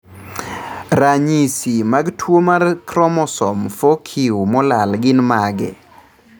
Ranyisi mag tuwo mar chromosome 4q molal gin mage?